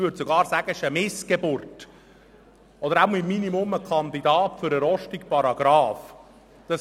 Ich würde sogar sagen, dieses Gesetz ist eine Missgeburt oder im Minimum ein Kandidat für den «Rostigen Paragrafen».